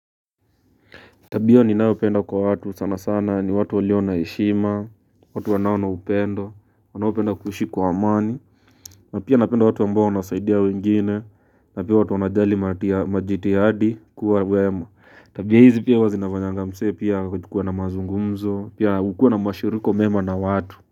Tabio ninayopenda kwa watu sana sana ni watu walio na heshima, watu wanaonaupendo, wanaopenda kuishi kwa amani, na pia napenda watu ambao wanasaidia wengine, na pia watu wanajali majitihadi kuwa wema. Tabia hizi pia huwa zinafanyanga msee pia kuwa na mazungumzo, pia ukue na mashiriko mema na watu.